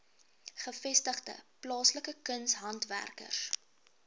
gevestigde plaaslike kunshandwerkers